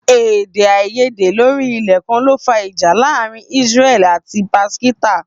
Èdè àìyédè lórí ilẹ̀ kan ló fà ìjà láàárín Israel àti Pakistan